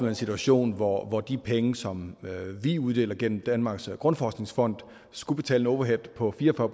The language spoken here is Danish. en situation hvor hvor de penge som vi uddeler gennem danmarks grundforskningsfond skulle betale overhead på fire og